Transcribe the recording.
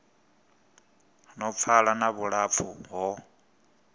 no pfala na vhulapfu ho